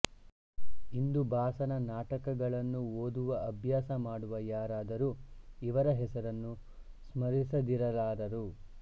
ಇಂದು ಭಾಸನ ನಾಟಕಗಳನ್ನು ಓದುವ ಅಭ್ಯಾಸ ಮಾಡುವ ಯಾರಾದರೂ ಇವರ ಹೆಸರನ್ನು ಸ್ಮರಿಸದಿರಲಾರರು